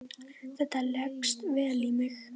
Þetta leggst vel í mig.